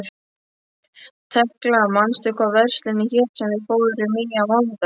Tekla, manstu hvað verslunin hét sem við fórum í á mánudaginn?